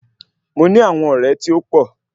Mo ní àwọn ọ̀rẹ́ tí ó pọ̀